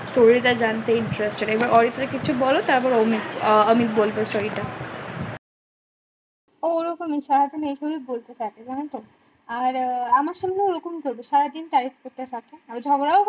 story টা জানতে interested এবং অরিত্রি কিছু বল তারপর অমিত বলবে story টা ও ওরকমই সারাদিন এ খালি বলতে থাকে জানো তো আর এ, আমার সঙ্গে ও রকম করবে সারাদিন type করতে থাকে আর ঝগড়া ও